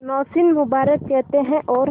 नौशीन मुबारक कहते हैं और